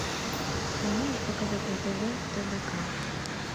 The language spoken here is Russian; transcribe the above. ты можешь показать на тв тдк